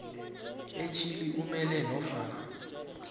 etjhili umele nofana